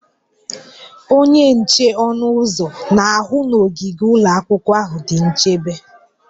Onye nche ọnụ ụzọ na-ahụ na ogige ụlọ akwụkwọ ahụ dị nchebe